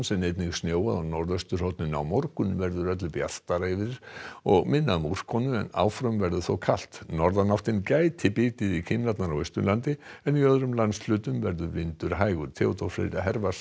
en einnig snjóaði á norðausturhorninu á morgun verður öllu bjartara yfir og minna um úrkomu en áfram verður þó kalt norðanáttin gæti bitið í kinnar á Austurlandi en í öðrum landshlutum verður vindur hægur Theodór Freyr